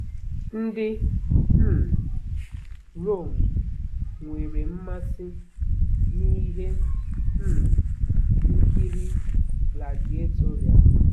Ndị um Rome nwere mmasị n'ihe um nkiri gladiatorial.